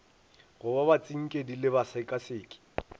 go ba batsinkedi le basekaseki